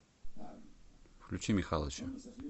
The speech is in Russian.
включи михалыча